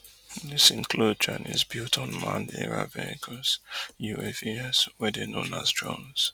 dis include chinese-built unmanned aerial vehicles uavs wey dey known as drones